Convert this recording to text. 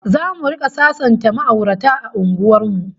ZAmu rika sasanta ma'aurata a unguwar mu